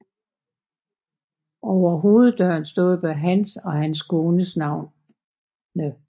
Over hoveddøren står både hans og hans kones navne